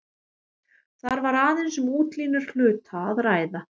Þar var aðeins um útlínur hluta að ræða.